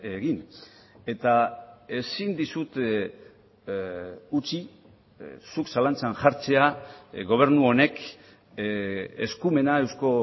egin eta ezin dizut utzi zuk zalantzan jartzea gobernu honek eskumena eusko